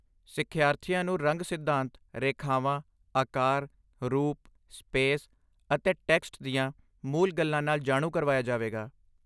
ਸਿੱਖਿਆਰਥੀਆਂ ਨੂੰ ਰੰਗ ਸਿਧਾਂਤ, ਰੇਖਾਵਾਂ, ਆਕਾਰ, ਰੂਪ, ਸਪੇਸ, ਅਤੇ ਟੈਕਸਟ ਦੀਆਂ ਮੂਲ ਗੱਲਾਂ ਨਾਲ ਜਾਣੂ ਕਰਵਾਇਆ ਜਾਵੇਗਾ।